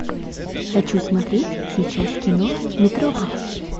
хочу смотреть сейчас кино метрополис